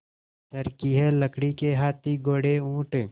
चर्खी है लकड़ी के हाथी घोड़े ऊँट